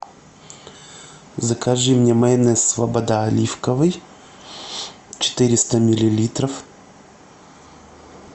закажи мне майонез слобода оливковый четыреста миллилитров